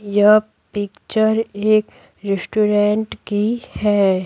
यह पिक्चर एक रेस्टोरेंट की है।